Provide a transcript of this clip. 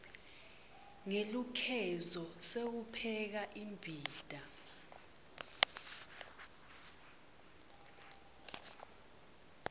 ngelukhezo sewupheka imbita